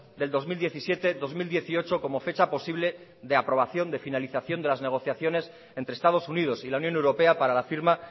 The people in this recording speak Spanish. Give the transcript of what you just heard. del dos mil diecisiete dos mil dieciocho como fecha posible de aprobación de finalización de las negociaciones entre estados unidos y la unión europea para la firma